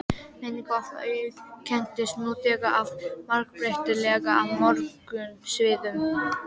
Menning okkar auðkennist nú þegar af margbreytileika á mörgum sviðum.